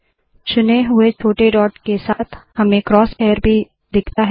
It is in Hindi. चुने हुए छोटे डॉट के साथ हमें क्रोस हेयर भी दिखता है